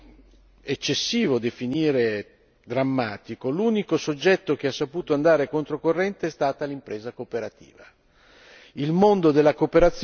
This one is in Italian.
In questo contesto che non è eccessivo definire drammatico, l'unico soggetto che ha saputo andare contro corrente è stata l'impresa cooperativa.